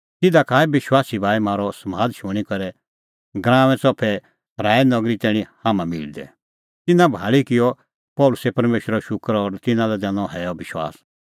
तिधा का आऐ विश्वासी भाई म्हारअ समाद शूणीं करै गराऊंए च़फै चिई सराऐ नगरी तैणीं हाम्हां मिलदै तिन्नां भाल़ी किअ पल़सी परमेशरो शूकर और तिन्नां लै दैनअ हैअ विश्वास